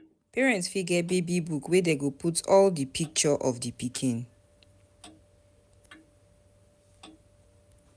Parent fit get baby book wey dem go put all di picture of di pikin